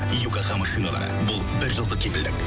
йокогама шиналары бұл бір жылдық кепілдік